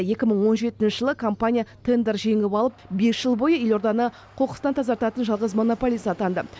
екі мың он жетінші жылы компания тендер жеңіп алып бес жыл бойы елорданы қоқыстан тазартатын жалғыз монополист атанды